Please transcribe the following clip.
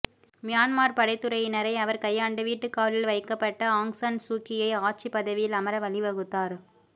Myanmar படைத்துறையினரை அவர் கையாண்டு வீட்டுக் காவலில் வைக்கப்பட்ட ஆங் சான் சூக்கியை ஆட்சிப் பதவியில் அமர வழிவகுத்தார்